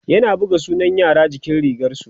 yana buga sunan yara jikin rigarsu